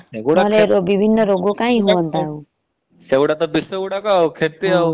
ସେଗୁଡାକ ବିଷ ଗୁଆଡକ ଆଉ କ୍ଷତି ଆଉ।